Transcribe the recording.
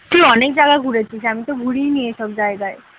তুই অনেক জায়গায় ঘুরেছিস আমি তো ঘুরিইনি এসব জায়গায়।